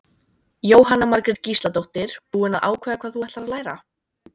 Jóhanna Margrét Gísladóttir: Búin að ákveða hvað þú ætlar að læra?